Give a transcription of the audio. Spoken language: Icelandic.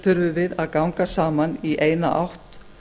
þurfum við að ganga saman í eina átt